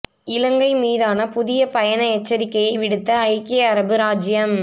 இலங்கை மீதான புதிய பயண எச்சரிக்கையை விடுத்த ஐக்கிய அரபு இராச்சியம்